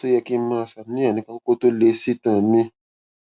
ṣé ó yẹ kí n máa ṣàníyàn nípa kókó kan tó lé sí itan mi